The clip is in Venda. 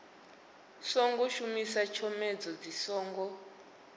songo shumisa tshomedzo dzi songo